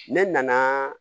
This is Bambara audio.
Ne nanaaa